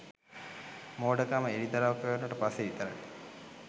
මෝඩකම එළිදරව් කෙරුණට පස්සෙ විතරයි.